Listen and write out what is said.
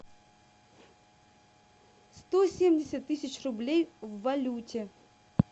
сто семьдесят тысяч рублей в валюте